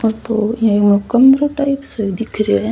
आ तो एक कमरों टाइप्स सो दिख रेहो है।